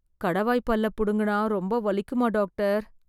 கடவாய் பல்ல புடுங்கினா ரொம்ப வலிக்குமா டாக்டர்?